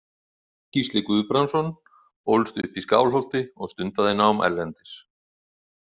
Gísli Guðbrandsson ólst upp í Skálholti og stundaði nám erlendis.